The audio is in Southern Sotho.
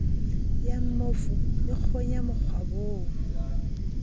ya mmofu e kgonya mokgwabong